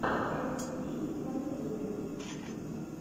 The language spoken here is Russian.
эм ти ви на ютубе